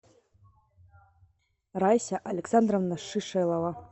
райся александровна шишелова